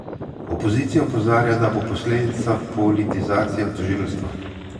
Opozicija opozarja, da bo posledica politizacija tožilstva.